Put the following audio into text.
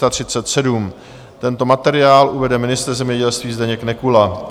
Tento materiál uvede ministr zemědělství Zdeněk Nekula.